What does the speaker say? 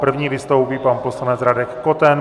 První vystoupí pan poslanec Radek Koten.